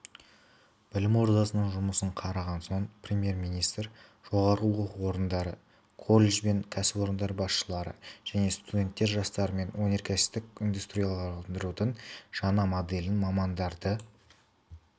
білім ордасының жұмысын қараған соң премьер-министр жоғары оқу орындары колледж бен кәсіпорын басшылары және студент жастармен өнеркәсіптік индустрияландырудың жаңа моделіне мамандарды